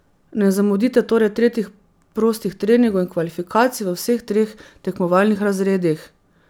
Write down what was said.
Ne zamudite torej tretjih prostih treningov in kvalifikacij v vseh treh tekmovalnih razredih.